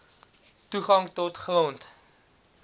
toegang tot grond